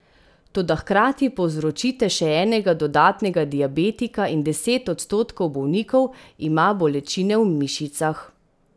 Toda hkrati povzročite še enega dodatnega diabetika in deset odstotkov bolnikov ima bolečine v mišicah.